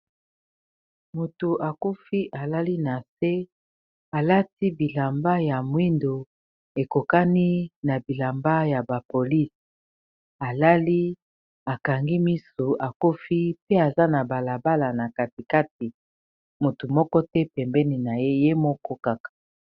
Motu akufi alali na se alati bilamba ya mwindo ekokani na bilamba ya ba polise alali akangi misu akufi pe aza na balabala na katikati motu moko te pembeni na ye ye moko kaka.